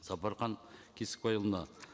сапархан кесікбайұлына